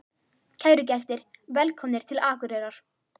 Kæru gestir! Velkomnir til Akureyrar.